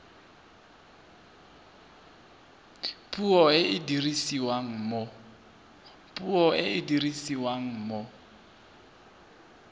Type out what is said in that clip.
puo e e dirisiwang mo